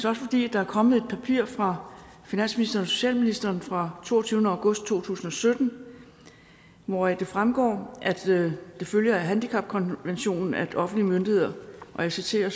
også fordi der er kommet et papir fra finansministeren og socialministeren fra toogtyvende august to tusind og sytten hvoraf det fremgår at det følger af handicapkonventionen at offentlige myndigheder og jeg citerer